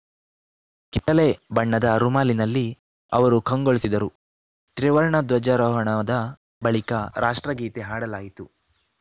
ಕಿತ್ತಳೆ ಬಣ್ಣದ ರುಮಾಲಿನಲ್ಲಿ ಅವರು ಕಂಗೊಳಿಸಿದರು ತ್ರಿವರ್ಣ ಧ್ವಜಾರೋಹಣದ ಬಳಿಕ ರಾಷ್ಟ್ರಗೀತೆ ಹಾಡಲಾಯಿತು